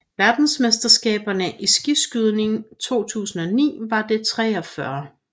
Verdensmesterskaberne i skiskydning 2009 var det 43